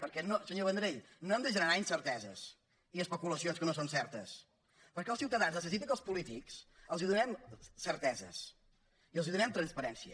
perquè senyor vendrell no hem de generar incerteses i especulacions que no són certes perquè els ciutadans necessiten que els polítics els donem certeses i els donem transparència